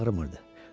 Heç yeri ağrımırdı.